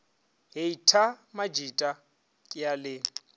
heita majita ke a le